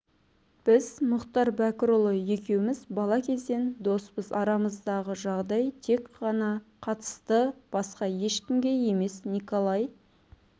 біз мұхтар бәкірұлы екеуміз бала кезден доспыз арамыздағы жағдай тек ғана қатысты басқа ешкімге емес николай